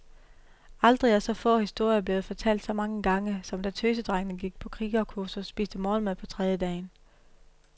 Aldrig er så få historier blevet fortalt så mange gange, som da tøsedrengene på krigerkursus spiste morgenmad på trediedagen.